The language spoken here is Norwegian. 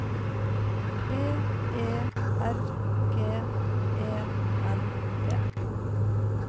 B E R G E N E